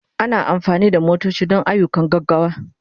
Ana amfani da manyan motoci don ayyukan gaggawa.